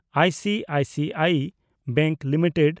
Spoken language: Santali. ICICI bank limited